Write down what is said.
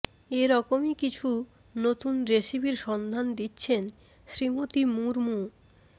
এ রকমই কিছু নতুন রেসিপির সন্ধান দিচ্ছেন শ্রীমতী মুরমু